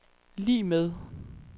lig med